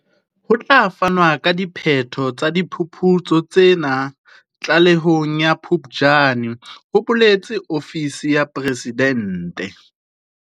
Ho tla fanwa ka diphetho tsa diphuputso tsena tlalehong ya Phuptjane, ho boletse ofisi ya Presidente.